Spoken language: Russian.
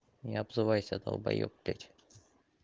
не обзывайся долбаёб блять